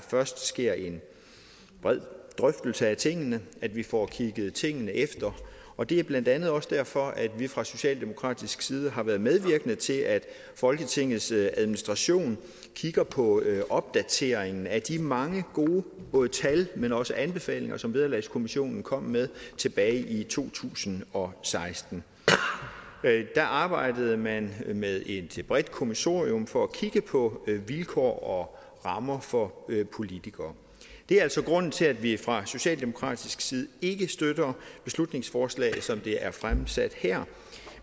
først sker en bred drøftelse af tingene at vi får kigget tingene efter og det er blandt andet også derfor at vi fra socialdemokratisk side har været medvirkende til at folketingets administration kigger på opdateringen af de mange gode både tal men også anbefalinger som vederlagskommissionen kom med tilbage i to tusind og seksten der arbejdede man med et bredt kommissorium for at kigge på vilkår og rammer for politikere det er altså grunden til at vi fra socialdemokratisk side ikke støtter beslutningsforslaget som det er fremsat her